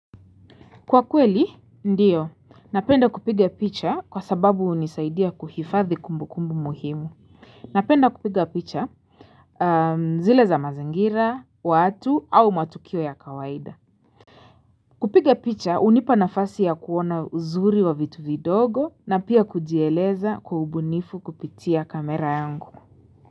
Kwa kweli, ndiyo. Napenda kupiga picha kwa sababu unisaidia kuhifadhi kumbukumbu muhimu. Napenda kupiga picha zile za mazingira, watu au matukio ya kawaida. Kupiga picha, unipa nafasi ya kuona uzuri wa vitu vidogo na pia kujieleza kwa ubunifu kupitia kamera yangu.